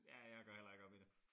Ja jeg går heller ikke op i det